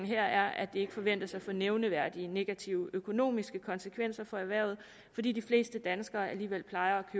her at det ikke forventes at få nævneværdig negative økonomiske konsekvenser for erhvervet fordi de fleste danskere alligevel plejer at